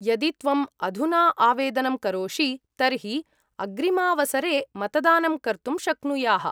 यदि त्वम् अधुना आवेदनं करोषि तर्हि अग्रिमावसरे मतदानं कर्तुं शक्नुयाः।